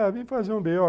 É, vim fazer um bê ó